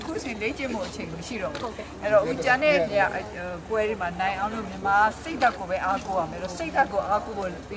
အခုအချိန် လေ့ကျင့်ဖို့အချိန်မရှိတော့ဘူး၊ အဲတော့ကျန်တဲ့ပွဲတွေမှာနိုင်အောင်လို့ မြန်မာက စိတ်ဓာတ်ကိုပဲ အားကိုးရမယ်၊ စိတ်ဓာတ်ကို အားကိုးပြီ